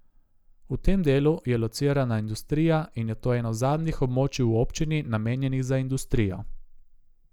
V tem delu je locirana industrija in je to eno zadnjih območij v občini, namenjenih za industrijo.